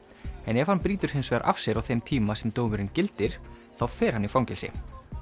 en ef hann brýtur hins vegar af sér á þeim tíma sem dómurinn gildir þá fer hann í fangelsi